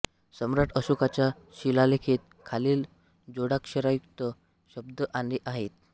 सम्राट अशोकाच्या शिलालेखात खालील जोडाक्षरयुक्त शब्द आले आहेत